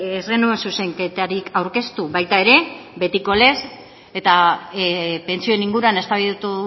ez genuen zuzenketarik aurkeztu baita ere betikopez eta pentsioen inguruan eztabaidatu